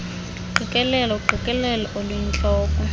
uqikelelo uqikelelo oluyintloko